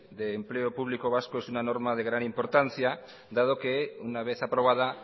de empleo público vasco es una norma de gran importancia dado que una vez aprobada